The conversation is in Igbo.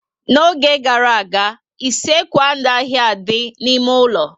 N'oge gara aga, isekwu anaghị adị n'ime ụlọ